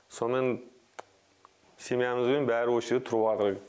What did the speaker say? сонымен семьямызбен бәрі осы жерде тұрып жатырмыз